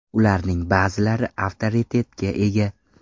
Ularning ba’zilari avtoritetga ega.